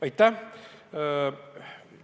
Aitäh!